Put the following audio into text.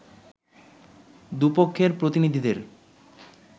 দু’পক্ষের প্রতিনিধিদের